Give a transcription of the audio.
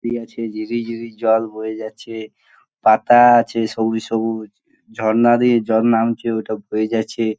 সিড়ি আছে ঝিরি ঝিরি জল বয়ে যাচ্ছে | পাতা আছে সবুজ সবুজ ঝর্ণা দিয়ে জল নামছে ওটা বয়ে গাছে।